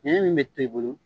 bɛ tɛ bolo